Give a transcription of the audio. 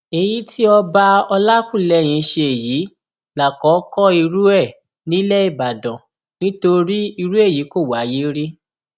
èyí tí ọba olákùlẹhìn ṣe yìí lákòókò irú ẹ nílẹ ìbàdàn nítorí irú èyí kò wáyé rí